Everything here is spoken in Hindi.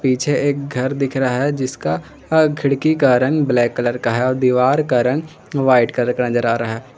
पीछे एक घर दिख रहा है जिसका खिड़की का रंग ब्लैक कलर का है और दीवार का रंग व्हाइट कलर का नजर आ रहा--